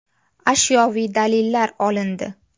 Ashyoviy dalillar olindi.